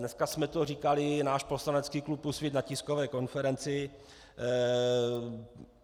Dneska jsme to říkali, náš poslanecký klub Úsvit, na tiskové konferenci.